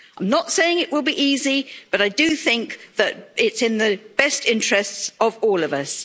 I am not saying it will be easy, but I do think that it is in the best interests of all of